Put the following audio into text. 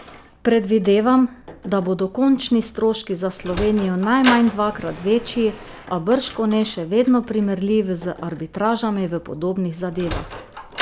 Predvidevam, da bodo končni stroški za Slovenijo najmanj dvakrat večji, a bržkone še vedno primerljivi z arbitražami v podobnih zadevah.